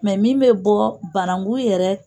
Mɛ min bɛ bɔ bananku yɛrɛ